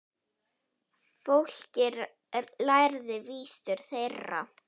Fólkið lærði vísur þeirra.